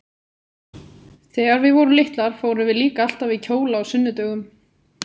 Þegar við vorum litlar fórum við líka alltaf í kjóla á sunnudögum.